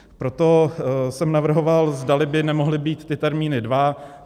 Proto jsem navrhoval, zdali by nemohly být ty termíny dva.